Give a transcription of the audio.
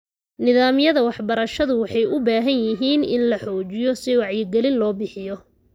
Nidaamyada waxbarashadu waxay u baahan yihiin in la xoojiyo si wacyigelin loo bixiyo.